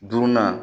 Duurunan